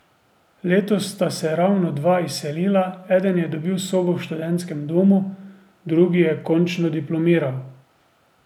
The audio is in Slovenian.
Letos sta se ravno dva izselila, eden je dobil sobo v študentskem domu, drugi je končno diplomiral.